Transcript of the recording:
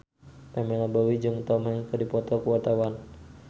Pamela Bowie jeung Tom Hanks keur dipoto ku wartawan